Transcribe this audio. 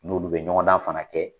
N'olu be ɲɔgɔndan fana kɛ